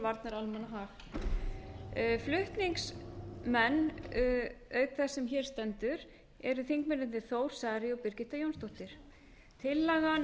varnar almannahag flutningsmenn auk þess sem hér stendur eru þingmennirnir þór bara og birgitta jónsdóttir tillagan